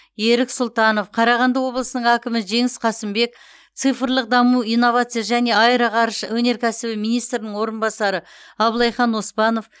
ерік сұлтанов қарағанды облысының әкімі жеңіс қасымбек цифрлық даму инновация және аэроғарыш өнеркәсібі министрінің орынбасары аблайхан оспанов